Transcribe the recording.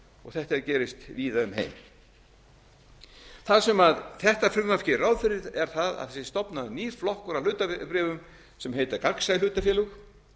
þetta gerist víða um heim heldur áfram í næstu það sem þetta frumvarp gerir ráð fyrir er það að þegar er stofnaður ýr flokkur af hlutabréfum sem heita gagnsæ hlutafélög